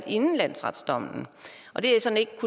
inden landsretsdommen og det